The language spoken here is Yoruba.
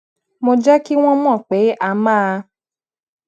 mo jé kí wón mò pé a máa